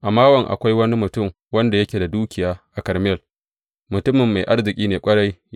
A Mawon, akwai wani mutum wanda yake da dukiya a Karmel, mutumin mai arziki ne ƙwarai.